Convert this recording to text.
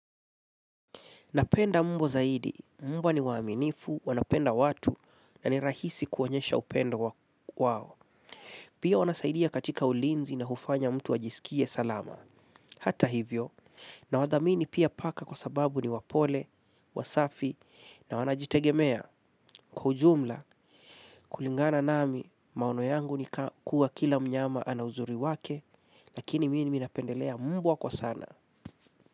Napenda mbwa zaidi. Mbwa ni waaminifu, wanapenda watu na ni rahisi kuonyesha upendo wao. Pia wanasaidia katika ulinzi na hufanya mtu ajiskie salama. Hata hivyo, nawadhamini pia paka kwa sababu ni wapole, wasafi, na wanajitegemea. Kwa ujumla, kulingana nami, maono yangu ni kuwa kila mnyama ana uzuri wake, lakini mimi napendelea mbwa kwa sana.